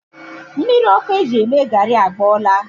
Mmiri ọkụ e ji eme gari agbọọla